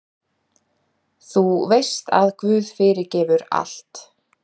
Þú veist að guð fyrirgefur allt.